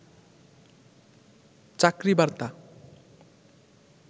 চাকরি বার্তা